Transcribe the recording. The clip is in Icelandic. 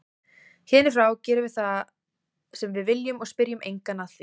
Héðan í frá gerum við það sem við viljum og spyrjum engan að því.